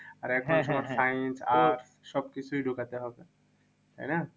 আর এখন তো science arts সব কিছুই ঢুকাতে হবে, তাই না?